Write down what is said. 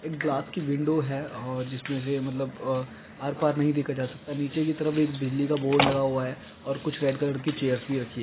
एक ग्लास की विंडो है और जिसे इसमे से मतलब आर पार भी देखा जा सकता है नीचे की तरफ एक बिजली का बोर्ड लगा हुआ है और कुछ ब्राउन कलर की चेयर्स भी रखी है।